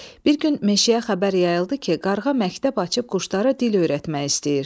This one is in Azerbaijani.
Bir gün meşəyə xəbər yayıldı ki, Qarğa məktəb açıb quşlara dil öyrətmək istəyir.